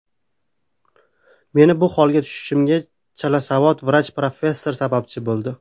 Meni bu holga tushishimga chalasavod vrach professorlar sababchi bo‘ldi.